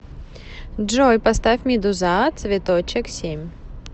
джой поставь медуза цветочек семь